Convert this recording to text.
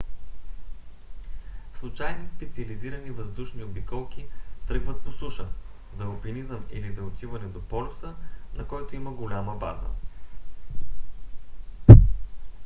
случайни специализирани въздушни обиколки тръгват по суша за алпинизъм или за отиване до полюса на който има голяма база